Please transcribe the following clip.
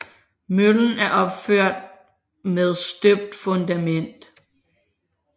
Møllen er opført med støbt fundament